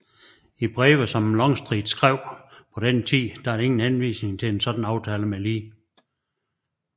I breve som Longstreet skrev på den tid er der ingen henvisning til en sådan aftale med Lee